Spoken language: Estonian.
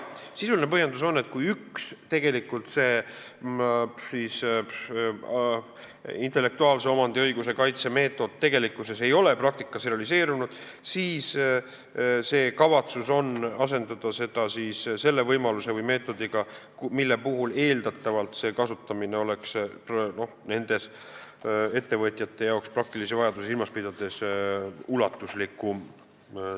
Sisuline põhjendus on, et kui üks intellektuaalse omandi kaitse meetod ei ole praktikas realiseerunud, siis on kavatsus asendada see sellise võimaluse või meetodiga, mille kasutamine oleks ettevõtjate praktilisi vajadusi silmas pidades eeldatavalt ulatuslikum.